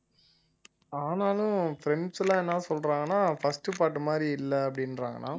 ஆனாலும் friends எல்லாம் என்ன சொல்றாங்கன்னா first part மாதிரி இல்லை அப்படின்றாங்கன்னா